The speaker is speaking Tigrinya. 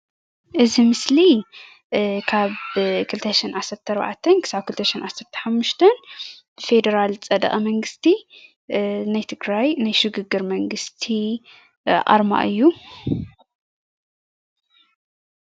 እዚ ምስሊ ካብ 2014 ክሳብ 2015 ብፌደራል ዝፀደቐ መንግስቲ ናይ ትግራይ ናይ ሽግግር መንግስቲ ኣርማ እዩ።